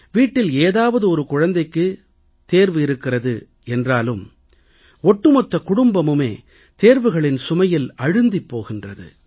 வீட்டில் ஏதாவது ஒரு குழந்தைக்குத் தான் தேர்வு இருக்கிறது என்றாலும் ஒட்டுமொத்த குடும்பமுமே தேர்வுகளின் சுமையில் அழுந்திப் போகின்றது